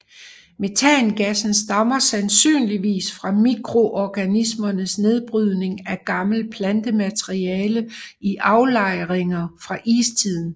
Metangassen stammer sandsynligvis fra mikroorganismers nedbrydning af gammelt plantemateriale i aflejringer fra istiden